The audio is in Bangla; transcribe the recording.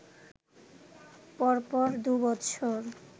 পরপর দুবছর